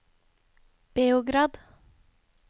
Beograd